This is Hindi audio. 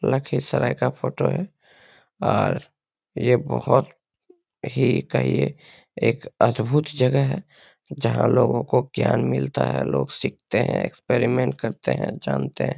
लखीसराय का फोटो है और ये बहुत ही कहिये एक अद्भुत जगह है जहाँ लोगो को ज्ञान मिलता है लोग सीखते हैं एक्सपेरिमेंट करते हैं जानते हैं।